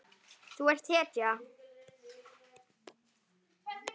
Þú ert hetja.